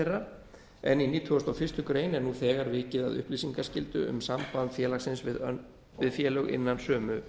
þeirra en í nítugasta og fyrstu grein er nú þegar vikið að upplýsingaskyldu um samband félagsins við félög innan sömu